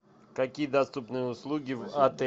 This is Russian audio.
какие доступные услуги в отеле